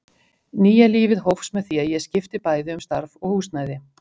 Nýja lífið hófst með því að ég skipti bæði um starf og húsnæði.